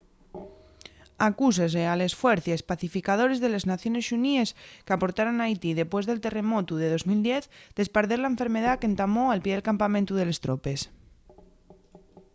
acúsase a les fuercies pacificadores de les naciones xuníes qu’aportaron a haití depués del terremotu de 2010 d’esparder la enfermedá qu’entamó al pie del campamentu de les tropes